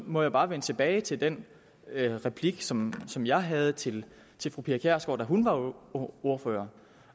må jeg bare vende tilbage til den replik som som jeg havde til fru pia kjærsgaard da hun var ordfører